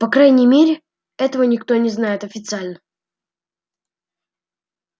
по крайней мере этого никто не знает официально